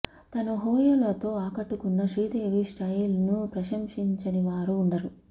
తన హొయలుతో ఆకట్టుకున్న శ్రీదేవి స్టయిల్ ను ప్రశంసించని వారు ఉండరు